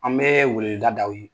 An bɛ weleweda da aw ye.